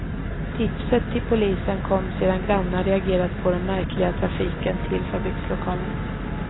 Tipset till polisen kom sedan grannar reagerat på den märkliga trafiken till fabrikslokalen.